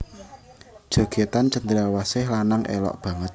Jogètan cendrawasih lanang élok banget